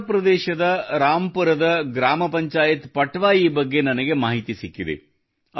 ಉತ್ತರಪ್ರದೇಶದ ರಾಂಪುರದ ಗ್ರಾಮ ಪಂಚಾಯತ್ ಪಟ್ವಾಯಿ ಬಗ್ಗೆ ನನಗೆ ಮಾಹಿತಿ ಸಿಕ್ಕಿದೆ